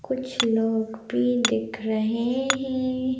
कुछ लोग भी दिख रहे हैं।